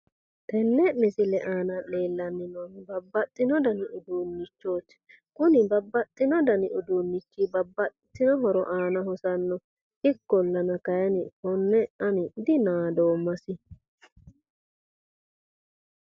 Tenne misile aana leellanni noohu babbaxxino dani uuduunnichooti. Kuni babbaxxino dani uuduunnichi babbaxxitewo dani horo aana hosanno. ikkollana, kayiinni konne ani dinadoommasi.